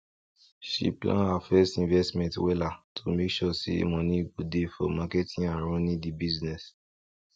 she plan her first investment wela to make sure say money go dey for marketing and running di business